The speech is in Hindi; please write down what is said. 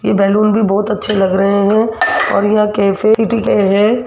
ये बैलून भी बहोत अच्छे लग रहे हैं और यह कैफे है।